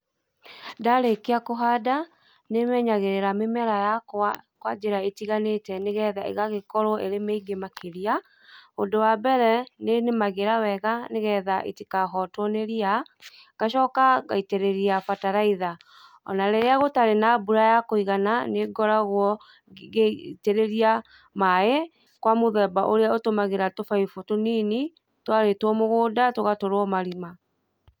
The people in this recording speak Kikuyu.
Ndarĩkia kũhanda nĩ menyagĩrĩra mĩmera yakwa kwa njĩra ĩtiganĩte nĩgetha ĩgagĩkorwo ĩrĩ mĩingĩ makĩria. Ũndũ wa mbere nĩ nĩmagĩra wega nĩ getha itikahotwo nĩ ria, ngacoka ngaitĩrĩria bataraitha, o na rĩrĩa gũtarĩ na mbura ya kũigana nĩ ngoragwo ngĩitĩrĩria maĩ kwa mũthemba ũrĩa ũtũmagĩra tũbaibũ tũnini twarĩtwo mũgũnda tũgatũrwo marima.